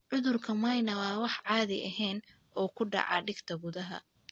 Cudurka Mnire waa wax aan caadi ahayn oo ku dhaca dhegta gudaha.